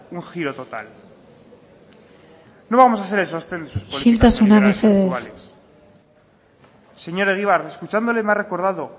un giro total no vamos a ser el sostén de sus políticas isiltasuna mesedez señor egibar escuchándole me ha recordado